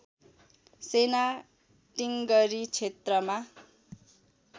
सेना टिङ्गरी क्षेत्रमा